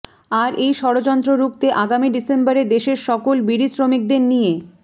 আর এই ষড়যন্ত্র রুখতে আগামী ডিসেম্বরে দেশের সকল বিড়ি শ্রমিকদের নিয়ে